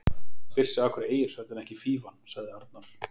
Maður spyr sig af hverju Egilshöll, en ekki Fífan? sagði Arnar.